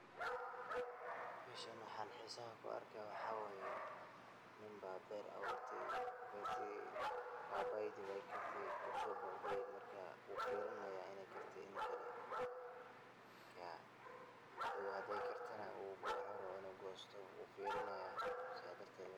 Meshaan waxan xisaaha kuu arkaayo waxa waaye niinba ber abuurtay. bertii paipai dii wey kaarte. wuu so boqday markaa wuu firinaaya iney kaarte iyo inii kaale. maarka hadow hadee kartaana wuxu rabaa inu goystoo wuu firinaaya sidaas darteet